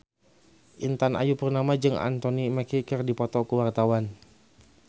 Intan Ayu Purnama jeung Anthony Mackie keur dipoto ku wartawan